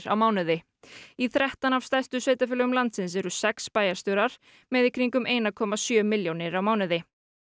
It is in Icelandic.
á mánuði í þrettán af stærstu sveitarfélögum landsins eru sex bæjarstjórar með í kringum eina komma sjö milljónir á mánuði